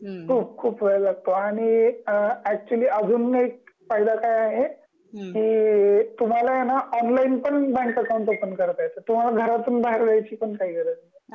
खूप खूप वेळ लागतो आणि अ ऍक्च्युली अजून एक फायदा काय आहे कि तुम्हाला आहे ना ऑनलाईन पण बँक अकॉउंट ओपन करता येत तुम्हाला घरातून बाहेर यायची पण गरज नाही